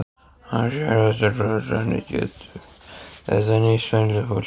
Ásgeir Erlendsson: Og hvernig getur þetta nýst venjulegu fólki?